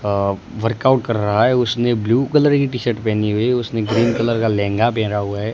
Workout कर रहा है उसने ब्लू कलर की टी शर्ट पहेनी हुई है उसने ग्रीन कलर का लहंगा पहेना हुआ है।